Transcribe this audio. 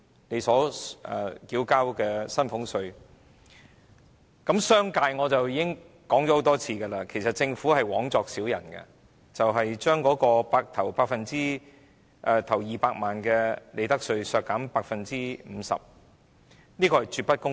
企業措施方面，我已經多次指出政府枉作小人，將企業首200萬元利潤的利得稅稅率削減 50%， 絕不公平。